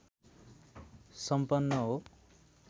सम्पन्न हो